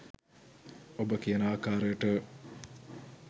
ඔබ කියන ආකාරයට